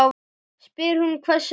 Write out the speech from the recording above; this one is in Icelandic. spyr hún hvössum rómi.